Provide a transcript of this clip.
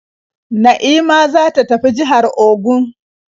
Na'ima za ta tafi jihar Ogun.